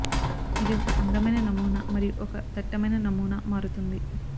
ఇది ఒక అందమైన నమూనా మరియు ఒక దట్టమైన నమూనా మారుతుంది